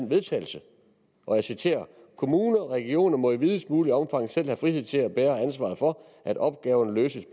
vedtagelse og jeg citerer kommuner og regioner må i videst muligt omfang selv have frihed til at bære ansvaret for at opgaverne løses